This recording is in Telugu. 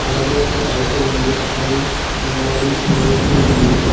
అలాగే ఒక పైపు ఉంది అది నిలబడి నిలబెట్టి ఉంది.